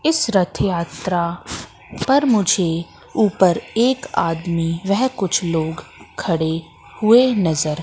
इस रथ यात्रा पर मुझे ऊपर एक आदमी वेह कुछ लोग खड़े हुए नजर--